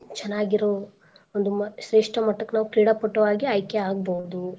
ಚನಾಗಿರೋ ಒಂದು ಮ್~ ಶ್ರೇಷ್ಠ ಮಟ್ಟಕ್ ನಾವ್ ಕ್ರೀಡಾ ಪಟುವಾಗಿ ಆಯ್ಕೆ ಆಗಬೋದು.